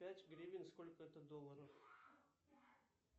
пять гривен сколько это долларов